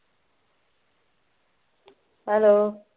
hello